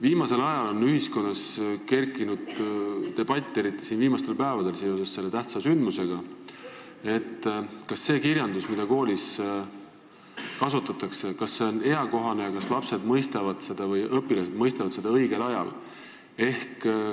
Viimasel ajal, eriti viimastel päevadel seoses ühe tähtsa sündmusega on ühiskonnas kerkinud debatt, kas see kirjandus, mida koolis kasutatakse, on eakohane ning kas lapsed, õpilased mõistavad seda õigel ajal.